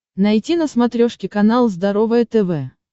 найти на смотрешке канал здоровое тв